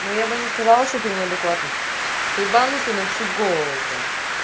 но я бы не сказала что ты неадекватный ты ебанутый на всю голову прям